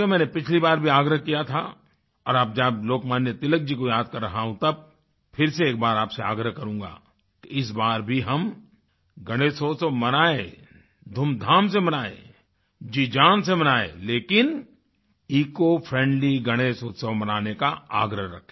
मैंने पिछली बार भी आग्रह किया था और जब लोकमान्य तिलक जी को याद कर रहा हूँ तब फिर से एक बार आपसे आग्रह करूँगा कि इस बार भी हम गणेश उत्सव मनाएँ धूमधाम से मनाएँ जीजान से मनाएँ लेकिन इकोफ्रेंडली गणेश उत्सव मनाने का आग्रह रखें